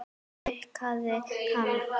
Hún dýrkaði hann.